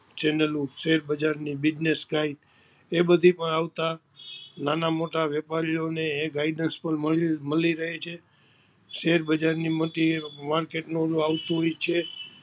ચેનલો શેર બજાર ની business ગાઈડ એ બધી પણ આવતા નાના મોટાં વેપારીઑને એ guidnaess પણ મળી રહી હૈ છે શેર બજાર ની મોટી માર્કેટ નું ઓલું આવતું હોય છે